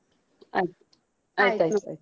ಆಯ್ತು ಆಯ್ತ್ ಆಯ್ತ್.